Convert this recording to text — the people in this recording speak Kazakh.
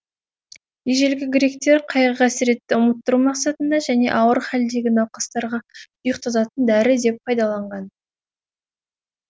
ежелгі гректер қайғы қасіретті ұмыттыру мақсатында және ауыр хәлдегі науқастарға ұйқтататын дәрі деп пайдаланған